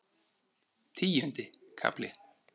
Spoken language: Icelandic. Tíundi kafli